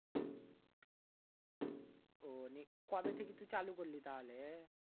আহ নে কবে থেকে তুই চালু করলি তাহলে?